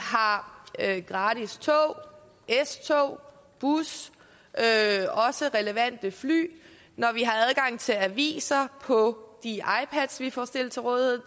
har gratis tog s tog bus også relevante fly når vi har adgang til aviser på de ipads vi får stillet til rådighed